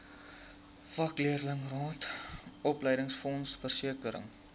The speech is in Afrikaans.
vakleerlingraad opleidingsfonds versekering